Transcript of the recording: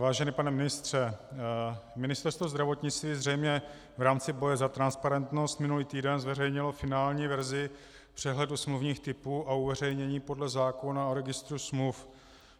Vážený pane ministře, Ministerstvo zdravotnictví zřejmě v rámci boje za transparentnost minulý týden zveřejnilo finální verzi přehledu smluvních typů a uveřejnění podle zákona o registru smluv.